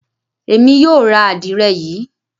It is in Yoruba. Emi yoo ra adire Yi.